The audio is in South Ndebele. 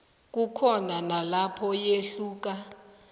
kukhona nalapho yehluka